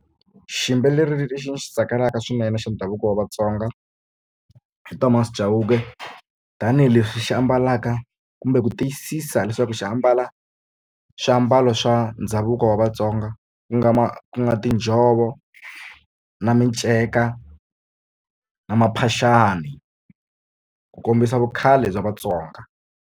Xiyimbeleri lexi ni xi tsakelaka swinene xa ndhavuko wa Vatsonga i Thomas Chauke tanihileswi xi ambalaka kumbe ku tiyisisa leswaku xi ambala swilo swa ndhavuko wa vatsonga ku nga ku nga tinjhovo na minceka na maphaxani ku kombisa vukhale bya Vatsonga.